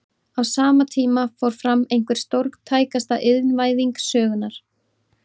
Á sama tíma fór fram einhver stórtækasta iðnvæðing sögunnar.